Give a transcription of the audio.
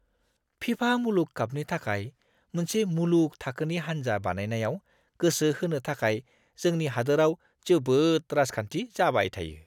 फिफा मुलुग कापनि थाखाय मोनसे मुलुग थाखोनि हान्जा बानायनायाव गोसो होनो थाखाय जोंनि हादोराव जोबोद राजखान्थि जाबाय थायो!